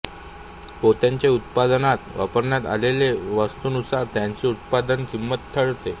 पोत्याचे उत्पादनात वापरण्यात आलेल्या वस्तूनुसार त्याची उत्पादनकिंमत ठरते